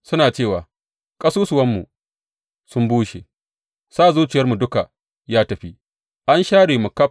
Suna cewa, Ƙasusuwanmu sun bushe, sa zuciyarmu duk ya tafi; an share mu ƙaf.’